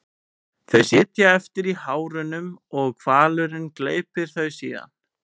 Þau sitja eftir í hárunum og hvalurinn gleypir þau síðan.